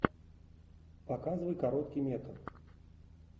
показывай короткий метр